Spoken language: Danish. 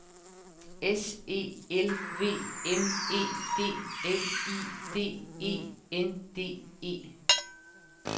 S E L V M E D L I D E N D E